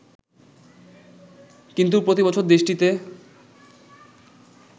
কিন্তু প্রতিবছর দেশটিতে